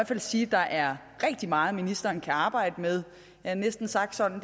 fald sige at der er rigtig meget ministeren kan arbejde med ja næsten sagt sådan